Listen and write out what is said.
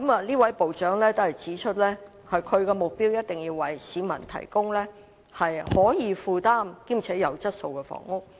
這位部長級官員指出，他的目標是一定要為市民提供可以負擔兼具質素的房屋。